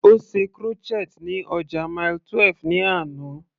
Ó ṣe crochet ní ọjà Mile 12 ní àná.